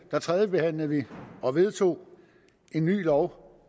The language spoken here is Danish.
tredjebehandlede vi og vedtog en ny lov